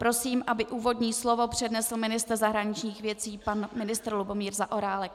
Prosím, aby úvodní slovo přednesl ministr zahraničních věcí pan ministr Lubomír Zaorálek.